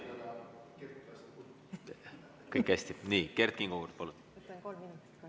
Kert Kingo nüüd, palun!